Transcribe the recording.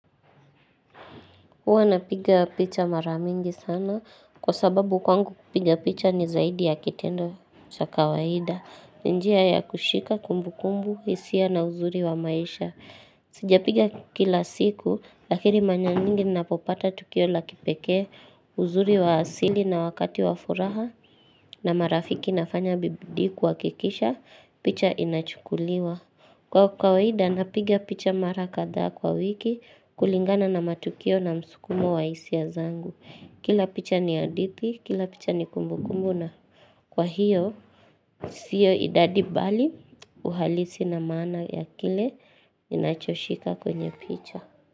Huwa napiga picha mara mingi sana kwa sababu kwangu kupiga picha ni zaidi ya kitendo cha kawaida. Njia ya kushika kumbukumbu, hisia na uzuri wa maisha. Sijapiga kila siku, lakini mara nyingi napopata tukio la kipekee uzuri wa asili na wakati wa furaha na marafiki nafanya bidii kuhakikisha, picha inachukuliwa. Kwa kawaida napiga picha mara kadhaa kwa wiki kulingana na matukio na msukumo wa hisia zangu. Kila picha ni hadithi, kila picha ni kumbukumbu na kwa hiyo siyo idadi bali uhalisi na maana ya kile inachoshika kwenye picha.